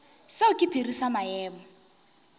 seo ke sephiri sa maemo